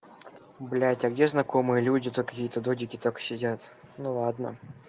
блядь а где знакомые люди тут какие-то додики только сидят ну ладно